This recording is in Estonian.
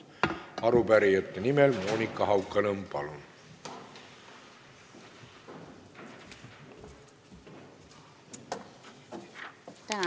Arupärijate nimel Monika Haukanõmm, palun!